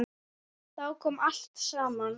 Þá kom allt saman.